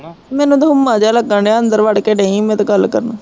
ਮੈਨੂੰ ਤੇ ਹੁਮਾ ਜਿਹਾ ਲੱਗਣ ਡਿਆ, ਅੰਦਰ ਵੜ ਕੇ ਡਈ ਮੈਂ ਤਾਂ ਗੱਲ ਕਰਨ